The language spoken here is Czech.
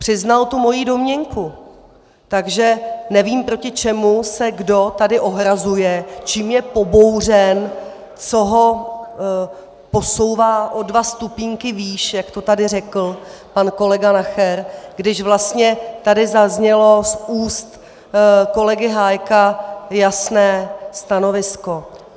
Přiznal tu moji domněnku, takže nevím, proti čemu se kdo tady ohrazuje, čím je pobouřen, co ho posouvá o dva stupínky výš, jak to tady řekl pan kolega Nacher, když vlastně tady zaznělo z úst kolegy Hájka jasné stanovisko.